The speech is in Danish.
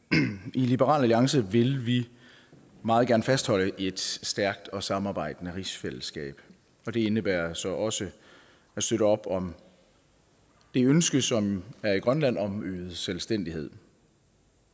i liberal alliance vil vi meget gerne fastholde et stærkt og samarbejdende rigsfællesskab og det indebærer så også at støtte op om det ønske som er i grønland om øget selvstændighed